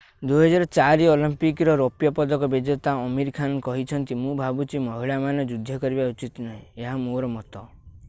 2004 Olympic ର ରୌପ୍ୟ ପଦକ ବିଜେତା ଆମୀର ଖାନ୍ କହିଛନ୍ତି ମୁଁ ଭାବୁଛି ମହିଳାମାନେ ଯୁଦ୍ଧ କରିବା ଉଚିତ୍ ନୁହେଁ ଏହା ମୋର ମତ